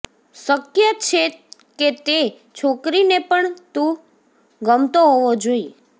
શક્ય છે કે તે છોકરીને પણ તું ગમતો હોવો જોઈએ